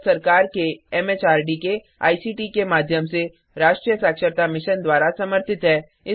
यह भारत सरकार के एमएचआरडी के आईसीटी के माध्यम से राष्ट्रीय साक्षरता मिशन द्वारा समर्थित है